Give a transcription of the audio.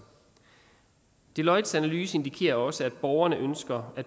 deloittes analyse indikerer også at borgerne ønsker at